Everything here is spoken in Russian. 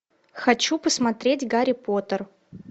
хочу посмотреть гарри поттер